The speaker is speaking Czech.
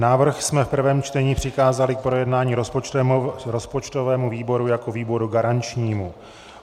Návrh jsme v prvém čtení přikázali k projednání rozpočtovému výboru jako výboru garančnímu.